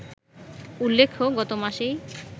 উল্লেখ্য, গত মাসেই